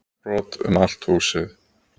Glerbrot um allt húsið